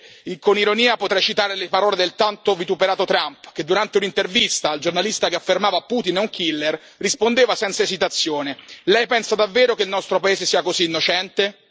Forse con ironia potrei citare le parole del tanto vituperato Trump che, durante un'intervista, al giornalista che affermava che Putin è un killer rispondeva senza esitazione Lei pensa davvero che il nostro paese sia così innocente?